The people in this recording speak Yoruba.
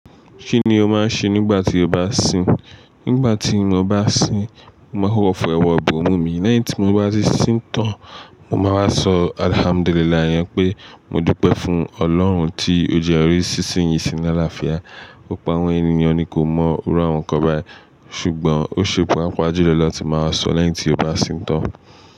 Kí ni o máa ń ṣe nígbà tí o bá sìn? Nígbà tí mo bá sìn, máa hó fi ọwọ́ bo emu mi. Lẹ́yìn tí mo bá ti sìn tán, mo máa wá sọ "Alhamdulillah" yẹn pé mo dúpẹ́ fún Ọlọ́run tí ó jẹ́ ń rí sísín yìí sí ní àlàáfíà. Ó po àwọn ènìyàn ni kò mọ òru àwọn ǹkan báyìí ṣùgbọ́n ó ṣepò á papa jú lọ̀lọ̀ la tí màá sọ̀ lẹ́yìn tí o bá sìn tán.